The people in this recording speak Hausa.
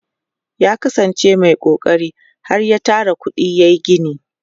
ya kasan ce Mai kokari har ya Tara kuɗi yayi gini